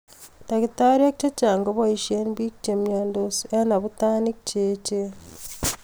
Dakitariek chechang kopaishe biik chemiandos eng abutanik cheechen